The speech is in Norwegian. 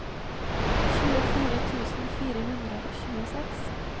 tjuefire tusen fire hundre og tjueseks